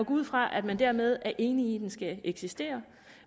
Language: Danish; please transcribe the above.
ud fra at man dermed er enig i at den skal eksistere